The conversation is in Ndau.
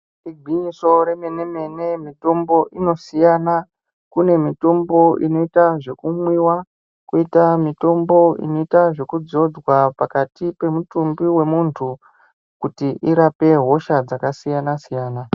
Igwinyiso remene mene mitombo inosiyana, kune mitombo inoita zvekumwiwa, koita mitombo inoita zvekudzodzwa pakati pemutumbi wemuntu kuti irape hosha dzakasiyana siyana.